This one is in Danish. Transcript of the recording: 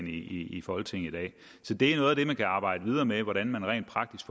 i folketinget i dag så det er noget af det man kan arbejde videre med nemlig hvordan man rent praktisk